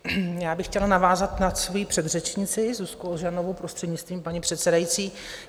Já bych chtěla navázat na svoji předřečnici Zuzku Ožanovou, prostřednictvím paní předsedající.